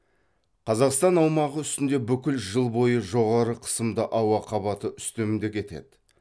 қазақстан аумағы үстінде бүкіл жыл бойы жоғары қысымды ауа қабаты үстемдік етеді